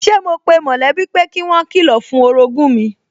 Sẹ́ mo pe mọ̀lẹ́bí pé kí wọ́n kilọ̀ fún orogún mi